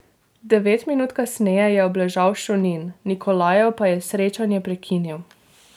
Devet minut kasneje je obležal Šunin, Nikolajev pa je srečanje prekinil.